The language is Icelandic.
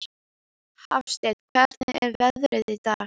Hafsteinn, hvernig er veðrið í dag?